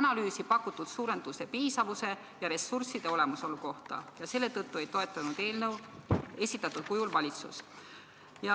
analüüsi pakutud suurenduse piisavuse ja ressursside olemasolu kohta ja selle tõttu ei toetanud Vabariigi Valitsus eelnõu esitatud kujul.